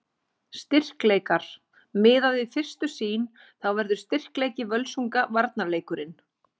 Styrkleikar: Miðað við fyrstu sýn þá verður styrkleiki Völsunga varnarleikurinn.